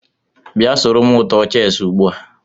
Bia soro m tụọ cheesị ugbua!